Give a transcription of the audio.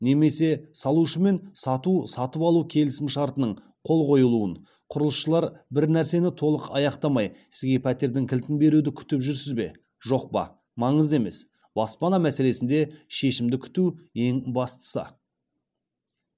немесе салушымен сату сатып алу келісімшартының қол қойылуын құрылысшылар бір нәрсені толық аяқтамай сізге пәтердің кілтін беруді күтіп жүрсіз бе жоқ па маңызды емес баспана мәселесінде шешімді күту ең бастысы